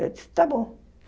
Eu disse, tá bom.